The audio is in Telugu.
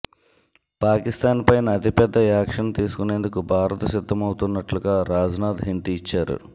పాకిస్తాన్ పైన అతిపెద్ద యాక్షన్ తీసుకునేందుకు భారత్ సిద్ధమవుతున్నట్లుగా రాజ్నాథ్ హింట్ ఇచ్చారు